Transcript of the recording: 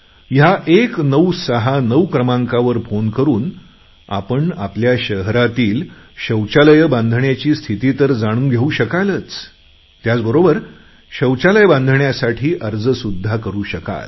ह्या 1969क्रमांकावर फोन करून आपण आपल्या शहरातील शौचालय बांधण्याची स्थिती तर जाणून घेऊ शकालच त्याचबरोबर शौचालय बांधण्यासाठी अर्ज सुद्धा करू शकाल